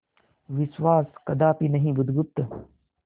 विश्वास कदापि नहीं बुधगुप्त